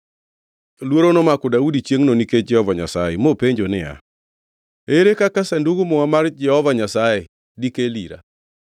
Luoro nomako Daudi chiengʼno nikech Jehova Nyasaye, mopenjo niya, “Ere kaka Sandug Muma mar Jehova Nyasaye dikel ira?”